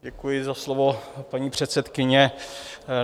Děkuji za slovo, paní předsedkyně.